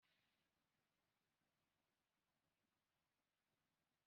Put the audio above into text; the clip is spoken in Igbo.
Ị nụrụ ihe mụ na dọkịnta m kpara?